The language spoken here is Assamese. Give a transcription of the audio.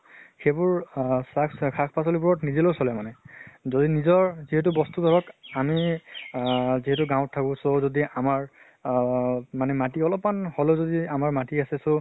সেইবোৰ আহ চাক শাক পাচলী বোৰত নদলেও চলে মানে। যদি নিজৰ যিহেতু বস্তু ধৰক আমি যিহেতু গাঁৱ্ত থাকো আহ মাটি অলপ্মান হলেও যদি আমাৰ মাটি আছে, so